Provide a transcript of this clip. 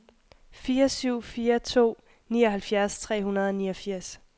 fire syv fire to nioghalvfjerds tre hundrede og niogfirs